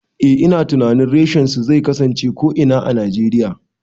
Eh ina tunanin reshen su zai kasance a ko'ina a Najeriya